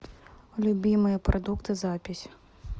любимые продукты запись